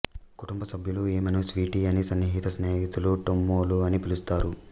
కుటుంబ సభ్యులు ఈమెను స్వీటీ అని సన్నిహిత స్నేహితులు టొమ్ములు అని పిలుస్తారు